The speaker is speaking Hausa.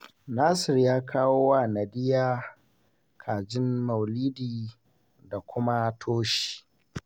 Nasir ya kawo wa Nadiya kajin maulidi da kuma toshi